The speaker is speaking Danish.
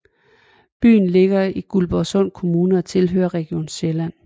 Byen ligger i Guldborgsund Kommune og tilhører Region Sjælland